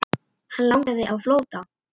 Hann lagði á flótta.